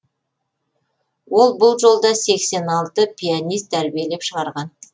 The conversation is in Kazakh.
ол бұл жолда сексен алты пианист тәрбиелеп шығарған